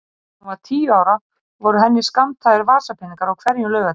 Þegar hún var tíu ára voru henni skammtaðir vasapeningar á hverjum laugardegi.